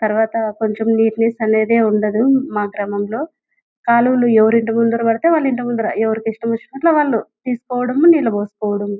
తర్వాత కొంచెం నెట్టనెస్ అనేది ఉందట మా గ్రామమం లో కాలువలు ఎవరింటి ముందు పడితే వాలా ముందరు ఎవరిష్టమొచ్చినట్టు వాళ్ళు ఏస్కోడము నీళ్లు పోస్కోడము --